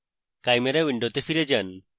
chimera window ফিরে যান